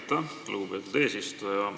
Aitäh, lugupeetud eesistuja!